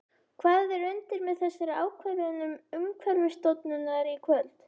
Hvað er undir með þessari ákvörðun Umhverfisstofnunar í kvöld?